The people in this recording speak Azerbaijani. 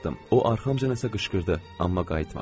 O arxamca nəsə qışqırdı, amma qayıtmadım.